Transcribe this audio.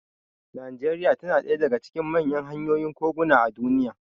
Najeriya tana daya daga cikin manyan hanyoyin koguna a duniya.